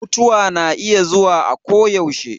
Mutuwa na iya zuwa a ko yaushe